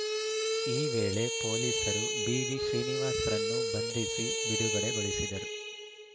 ಈ ವೇಳೆ ಪೊಲೀಸರು ಬಿವಿ ಶ್ರೀನಿವಾಸ್‌ರನ್ನು ಬಂಧಿಸಿ ಬಿಡುಗಡೆಗೊಳಿಸಿದರು